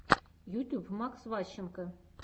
ютюб макс ващенко